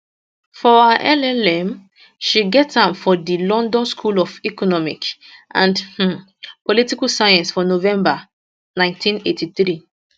for her llm she get am from di london school of economic and um political science for november 1983